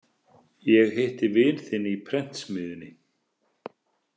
Ég hitti vin þinn í prentsmiðjunni